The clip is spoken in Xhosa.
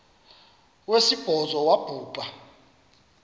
wesibhozo wabhu bha